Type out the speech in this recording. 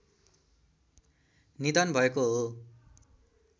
निधन भएको हो